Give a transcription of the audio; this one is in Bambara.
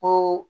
Ko